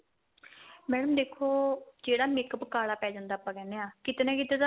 madam ਦੇਖੋ ਜਿਹੜਾ makeup ਕਾਲਾ ਪੈ ਜਾਂਦਾ ਆਪਾਂ ਕਹਿੰਦੇ ਆ ਕੀਤੇ ਨਾ ਕੀਤੇ ਤਾਂ